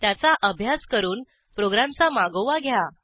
त्याचा अभ्यास करून प्रोग्रॅमचा मागोवा घ्या